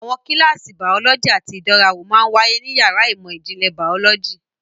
Àwọn kíláàsì bàọ́lọ́jì àti ìdánrawò máa ń wáyé ní yàrá ìmọ̀ ìjìnlẹ̀ bàọ́lọ́jì.